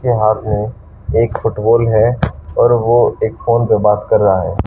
फिलाल में एक फुटबॉल है और ओ एक फोन पे बात कर रहा है।